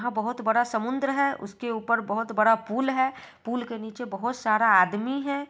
यहां बहोत बड़ा समुंद्र है उसके ऊपर बहोत बड़ा पुल है पुल के नीचे बहोत सारा आदमी है।